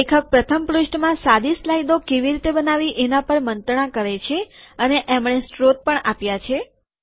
લેખક પ્રથમ પૃષ્ઠમાં સાદી સ્લાઈડો કેવી રીતે બનાવવી એના પર મંત્રણા કરે છે અને એમણે સ્ત્રોત પણ આપ્યા છે